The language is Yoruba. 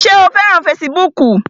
Ṣé o fẹ́ràn fesibúùkù?